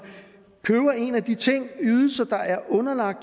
køber en af de ydelser der er underlagt